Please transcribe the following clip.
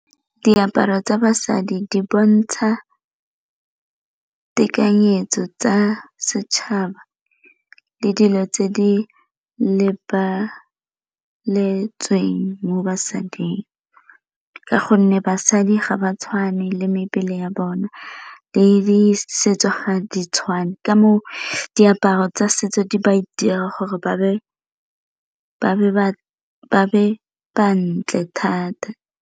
Diaparo tsa basadi di bontsha tekanyetso tsa setšhaba le dilo tse di lebeletsweng mo basading, ka gonne basadi ga ba tshwane le mebele ya bona le di setso ga di tshwane ka mo diaparo tsa setso di ba dira gore ba be ba ntle thata.